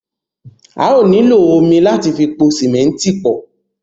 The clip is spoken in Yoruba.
À yóò nílọ omi láti fi pọ símẹ̀ntì náà pọ̀.